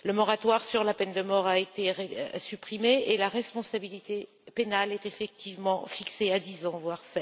Le moratoire sur la peine de mort a été supprimé et la responsabilité pénale est effectivement fixée à 10 ans, voire